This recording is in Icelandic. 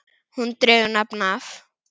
Hún dregur nafn af